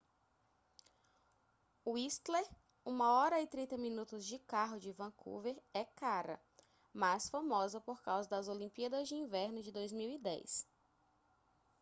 whistler 1:30 min. de carro de vancouver é cara mas famosa por causa das olimpíadas de inverno de 2010